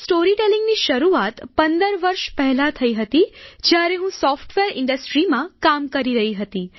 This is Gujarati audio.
સ્ટોરીટેલીંગની શરૂઆત 15 વર્ષ પહેલાં થઈ હતી જ્યારે હું સોફ્ટવેર ઈન્ડસ્ટ્રીમાં કામ કરી રહી હતી